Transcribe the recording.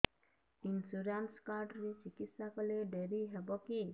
insurance card ରେ ଚିକିତ୍ସା କଲେ ଡେରି ହବକି